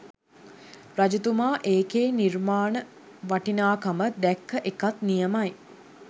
රජතුමා ඒකේ නිර්මාණ වටිනාකම දැක්ක එකත් නියමයි.